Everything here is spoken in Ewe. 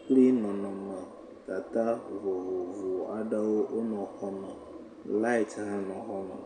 kpli nɔnɔmetata vovovo aɖewo wonɔ xɔ me. Lait hã nɔ xɔ me.